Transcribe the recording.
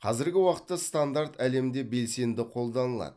қазіргі уақытта стандарт әлемде белсенді қолданылады